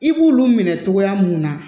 I b'ulu minɛ cogoya mun na